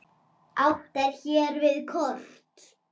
Átt er hér við kort.